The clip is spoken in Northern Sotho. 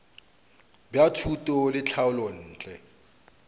bja thuto le tlhahlo ntle